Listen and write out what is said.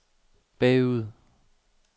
bagud